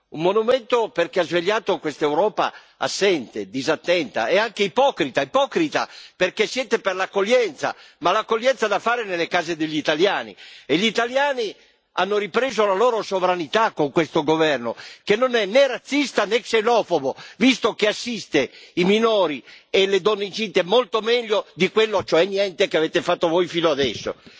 Un monumento perché ha svegliato quest'Europa assente, disattenta e anche ipocrita, ipocrita perché siete per l'accoglienza, ma l'accoglienza da fare nelle case degli italiani, e gli italiani hanno ripreso la loro sovranità con questo governo, che non è né razzista né xenofobo visto che assiste i minori e le donne incinte molto meglio di quello, cioè niente, che avete fatto voi fino adesso.